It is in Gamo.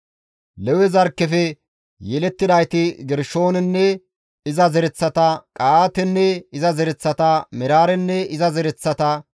Lewe zarkkefe yelettidayti Gershoonenne iza zereththata, Qa7aatenne iza zereththata, Meraarenne iza zereththata,